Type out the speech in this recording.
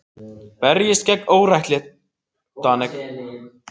Berjist gegn óréttlætinu